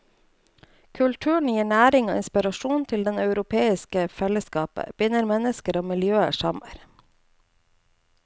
Kulturen gir næring og inspirasjon til det europeiske fellesskapet, binder mennesker og miljøer sammen.